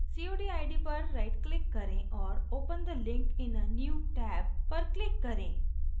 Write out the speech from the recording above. cod id पर right click करें और open the link in a new tab पर click करें